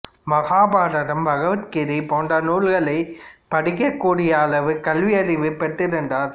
மகாபாரதம் பகவத் கீதை போன்ற நூல்களைப் படிக்கக் கூடிய அளவு கல்வியறிவு பெற்றிருந்தர்